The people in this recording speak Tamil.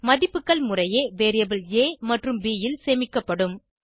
மதிப்புகள் முறையே வேரியபிள் ஆ மற்றும் ப் ல் சேமிக்கப்படும்